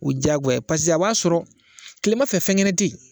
U ye jagoya pase a b'a sɔrɔ kilema fɛ fɛnkɛnɛ te yen